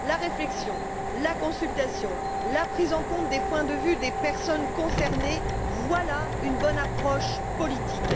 La réflexion, la consultation, la prise en compte des points de vue des personnes concernées, voilà une bonne approche politique.